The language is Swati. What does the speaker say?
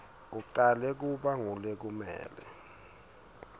acale kuba ngulekumele